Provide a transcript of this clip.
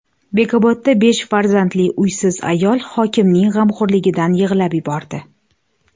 Bekobodda besh farzandli uysiz ayol hokimning g‘amxo‘rligidan yig‘lab yubordi.